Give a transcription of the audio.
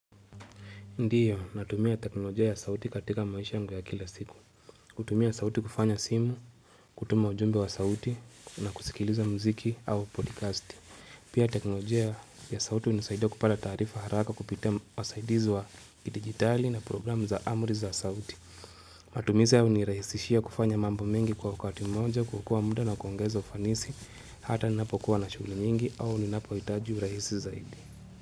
Ndiyo, natumia teknolojia ya sauti katika maisha yangu ya kila siku. Kutumia sauti kufanya simu, kutuma ujumbe wa sauti, na kusikiliza mziki au podcast. Pia teknolojia ya sauti hunisaidia kupata taarifa haraka kupitia wasaidizi wa digitali na program za amri za sauti. Matumizi haya huniraisishia kufanya mambo mengi kwa wakati mmoja, kuokaa muda na kuongeza ufanisi, hata ninapokuwa na shughuli nyingi au ninapohitaji urahisi zaidi.